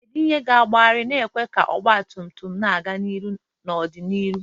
Kedu ihe ga-agbagharị, na-ekwe ka ọgba tum tum na-aga n'ihu n'ọdịnihu?